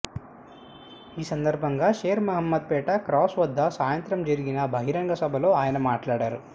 ఈ సందర్భంగా షేర్ మహ్మద్ పేట క్రాస్ వద్ద సాయంత్రం జరిగిన బహిరంగ సభలో ఆయన మాట్లాడారు